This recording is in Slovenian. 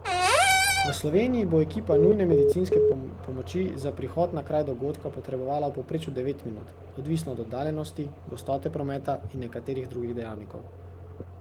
V Sloveniji bo ekipa nujne medicinske pomoči za prihod na kraj dogodka potrebovala v povprečju devet minut, odvisno od oddaljenosti, gostote prometa in nekaterih drugih dejavnikov.